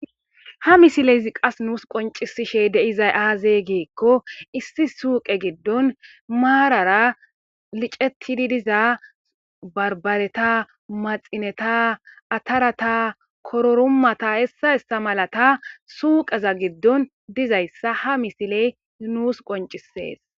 Ha misilezi qas nussi qoncishe dizay azee gikko issi suyqe gidon marara lic'ettidi diza banbare,maxineta, attara, kururumata hesanne hessa malata suyqeza gidon dizaysa ha misiley nusi qonc'ises.